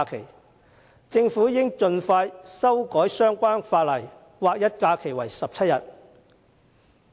我認為政府應盡快修改相關法例，劃一假期為17天。